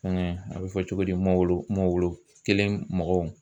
Fɛngɛ a bɛ fɔ cogo di mawulu mawulu kelen mɔgɔw.